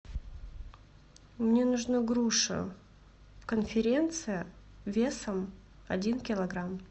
мне нужна груша конференция весом один килограмм